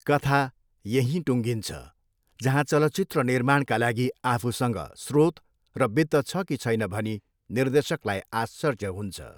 कथा यहीँ टुङ्गिन्छ, जहाँ चलचित्र निर्माणका लागि आफूसँग स्रोत र वित्त छ कि छैन भनी निर्देशकलाई आश्चर्य हुन्छ।